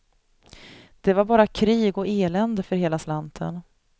Det var bara krig och elände för hela slanten.